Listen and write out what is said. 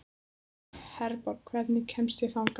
Herborg, hvernig kemst ég þangað?